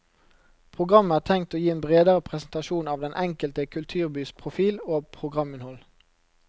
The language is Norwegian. Programmet er tenkt å gi en bredere presentasjon av den enkelte kulturbys profil og programinnhold.